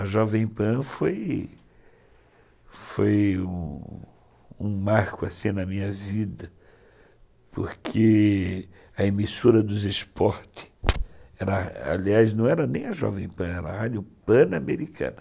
A Jovem Pan foi foi um marco assim na minha vida, porque a emissora dos esportes, aliás, não era nem a Jovem Pan, era a Rádio Pan-Americana.